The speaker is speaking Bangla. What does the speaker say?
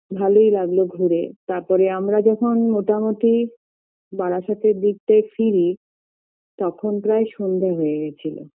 ভালোই লাগলো ঘুরে তারপরে আমার যখন মোটামুটি বারাসাতের দিকটায় ফিরি তখন প্রায় সন্ধ্যে হয়ে গেছিল